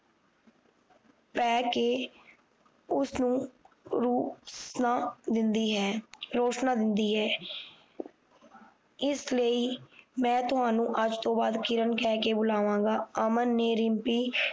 ਪੈ ਕ ਉਸ ਨੂੰ ਰੋਸ ਨਾ ਦਿੰਦੀ ਹੈ ਰੋਸ਼ਨਾ ਦਿੰਦੀ ਹੈ ਇਸ ਲਈ ਮੈਂ ਤੁਹਾਨੂੰ ਅੱਜ ਤੋਂ ਬਾਅਦ ਕਿਰਨ ਕਿਹ ਕ ਬੁਲਾਵਾ ਗਾ ਅਮਨ ਨੇ ਰਿਮਪੀ